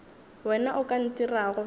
wena o ka ntirago bjalo